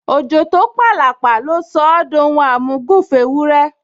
Òjò tó p’àlàpà ló sọ ọ́ d’ohun àmúgùn f’éwúrẹ́